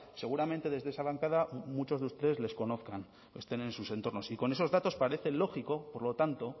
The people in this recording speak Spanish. seguramente desde esa bancada muchos de ustedes les conozcan o estén en sus entornos y con esos datos parece lógico por lo tanto